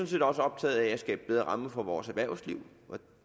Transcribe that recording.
set også optaget af at skabe bedre rammer for vores erhvervsliv og